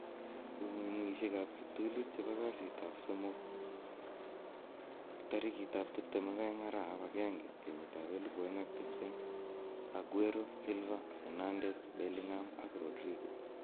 Kong'ung'uyosikab kiptulit chebo kasitab somok 22/01/2020: Aguero, Silva, Fernandes, Bellingham, Rodrigo